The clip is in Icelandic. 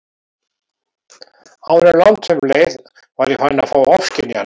Áður en langt um leið var ég farin að fá ofskynjanir.